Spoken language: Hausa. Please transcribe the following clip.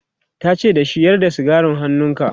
tace da shi"Yar da sigarin hannunka!'